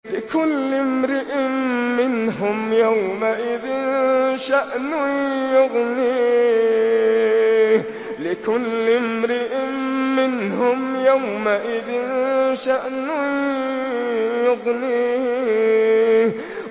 لِكُلِّ امْرِئٍ مِّنْهُمْ يَوْمَئِذٍ شَأْنٌ يُغْنِيهِ